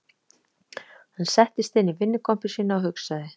Hann settist inn í vinnukompu sína og hugsaði